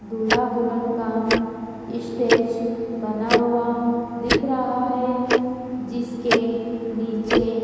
दूल्हा दुल्हन का इस्टेज बना हुआ दिख रहा है जिसके नीचे--